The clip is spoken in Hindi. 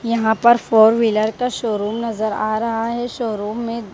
यहां पर फोर व्हीलर का शोरूम नजर आ रहा है शोरूम में --